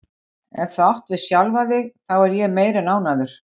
Og nú má ekki minna kosta en Kristján leggi mestallt blað sitt